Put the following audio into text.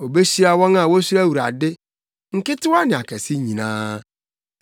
Obehyira wɔn a wosuro Awurade, nketewa ne akɛse nyinaa.